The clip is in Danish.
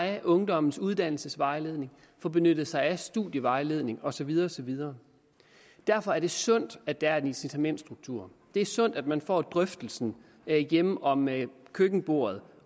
af ungdommens uddannelsesvejledning få benyttet sig af studievejledning og så videre og så videre derfor er det sundt at der er en incitamentsstruktur det er sundt at man får drøftelsen hjemme om køkkenbordet